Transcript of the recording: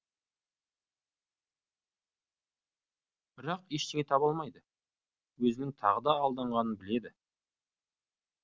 бірақ ештеңе таба алмайды өзінің тағы да алданғанын біледі